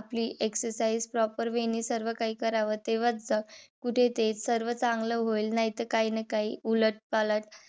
आपली exercise proper way ने सर्व काही कराव. तेव्हाच कुठे ते सर्व चांगले होईल. नाहीतर काही न काही उलट पालट